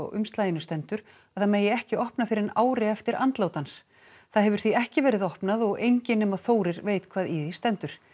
umslaginu stendur að það megi ekki opna fyrr en ári eftir andlát hans það hefur því ekki verið opnað og enginn nema Þórir veit hvað í því stendur